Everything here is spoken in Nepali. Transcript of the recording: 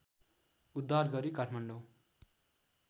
उद्धार गरी काठमाडौँ